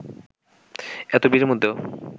এত ভিড়ের মধ্যেও